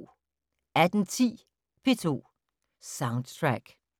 18:10: P2 Soundtrack